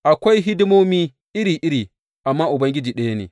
Akwai hidimomi iri iri, amma Ubangiji ɗaya ne.